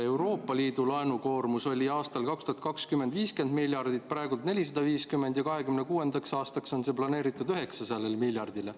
Euroopa Liidu laenukoormus oli 2020. aastal 50 miljardit, praegu on 450 ja 2026. aastaks on planeeritud 900 miljardile.